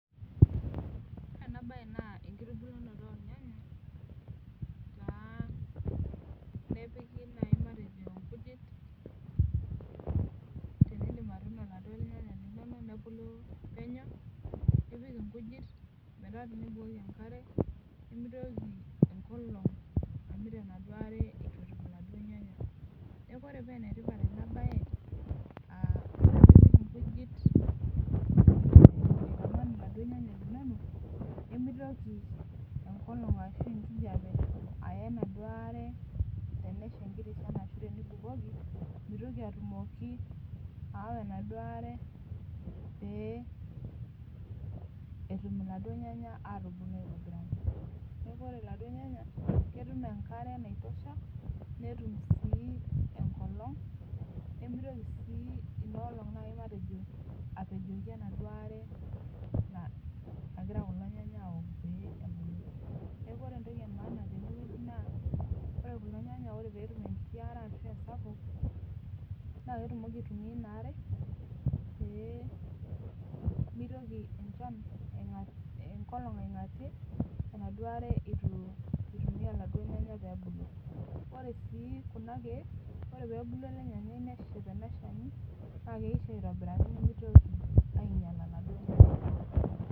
Ore ena bae naa enkitubulunoto ornyanya nepiki naaji matejo nkujit ,tenidip atuuno laduo nyanya linonok tenebulu penyo, nipik nkujit metaa tinibukoki enkare, nimitoki enkolong amit enaduo are etum laduo nyanya .Neeku ore paa enetipat ena bae ,ore pee ipik nkujit aitaman laduo nyanya linonok, nemitoki enkijepe ashu enkolong aya enaduo are tenesha enkiti shan ashu tenibukoki, mitoki atumoki aawa enaduo are pee etumoki laduo nyanya atubulu aitobiraki. Neeku ore laduo nyanya ,ketum enkare naitosha, netum sii enkolong, nemitoki ina olong apejoki enaduo are nagira kulo nyanya aok pee ebulu. Neeku ore entoki emaana teneweji naa ore kulo nayanya pee etum enkiti are ashu esapuk ,naa ketumoki aitumiyia inaare, pee mitoki enkolong aingatie enaduo are eitu eitumiyia laduo nyanya pee ebulu. Ore sii Kuna keek, ore pee ebulu ele nyanyai neshep ena shani, naa keisho aitobiraki nimitoki ainyala laduo nyanya.